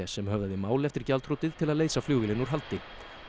sem höfðaði mál eftir gjaldþrotið til að leysa flugvélina úr haldi